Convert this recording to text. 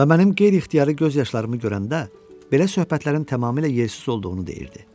Və mənim qeyri-ixtiyari göz yaşlarımı görəndə belə söhbətlərin tamamilə yersiz olduğunu deyirdi.